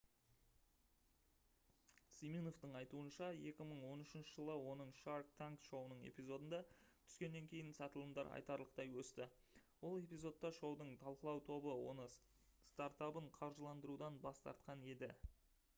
симиновтың айтуынша 2013 жылы оның shark tank шоуының эпизодында түскеннен кейін сатылымдар айтарлықтай өсті ол эпизодта шоудың талқылау тобы оны стартабын қаржыландырудан бас тартқан еді